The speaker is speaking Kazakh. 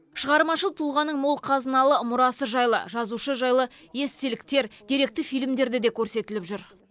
шығармашыл тұлғаның мол қазыналы мұрасы жайлы жазушы жайлы естеліктер деректі фильмдерде де көрсетіліп жүр